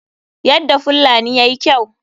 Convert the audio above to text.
Yadda fullani yayi kyau.